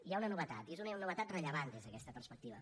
hi ha una novetat i és una novetat rellevant des d’aquesta perspectiva